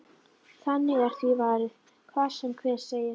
Þannig er því varið, hvað sem hver segir.